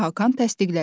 Hakan təsdiqlədi: